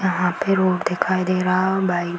यहाँ पे रोड दिखाई दे रहा और बाइ --